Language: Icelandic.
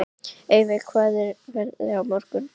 Eyveig, hvernig er veðrið á morgun?